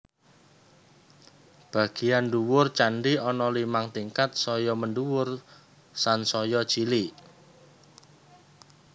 Bagéyan ndhuwur candhi ana limang tingkat saya mendhuwur sansaya cilik